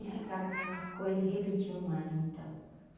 e ficava aquela coisa e repetia um ano, então.